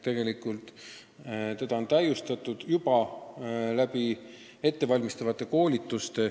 Selleks on tehtud ettevalmistavaid koolitusi.